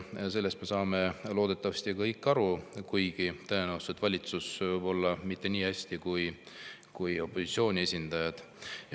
Sellest me saame loodetavasti kõik aru, kuigi tõenäoliselt valitsus mitte nii hästi kui opositsiooni esindajad.